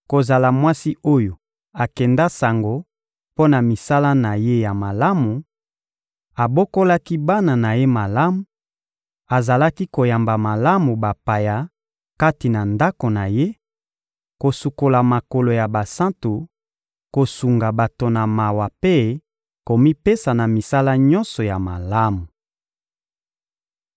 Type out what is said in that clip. kozala mwasi oyo akenda sango mpo na misala na ye ya malamu: abokolaki bana na ye malamu, azalaki koyamba malamu bapaya kati na ndako na ye, kosukola makolo ya basantu, kosunga bato na mawa mpe komipesa na misala nyonso ya malamu.